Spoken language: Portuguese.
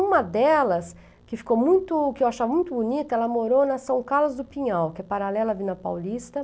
Uma delas, que ficou muito que eu achava muito bonita, ela morou na São Carlos do Pinhal, que é paralela à Vila Paulista.